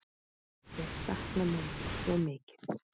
Ég sakna mömmu svo mikið.